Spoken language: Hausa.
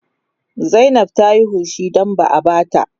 Zainab Ta Yi hushi don ba a ba ta